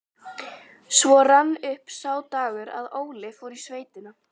Svo rann upp sá dagur að Óli fór í sveitina.